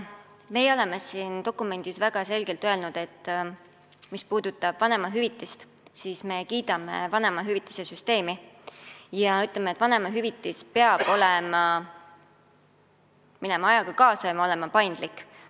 Meie oleme siin dokumendis väga selgelt öelnud, et mis puudutab vanemahüvitist, siis me kiidame vanemahüvitise süsteemi ja ütleme, et vanemahüvitis peab ajaga kaasas käima ja paindlik olema.